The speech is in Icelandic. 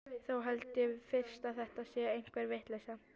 Þá held ég fyrst að þetta sé einhver vitleysa.